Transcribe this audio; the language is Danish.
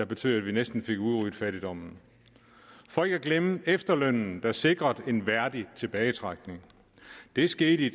betød at vi næsten fik udryddet fattigdommen for ikke at glemme efterlønnen der sikrede en værdig tilbagetrækning det skete i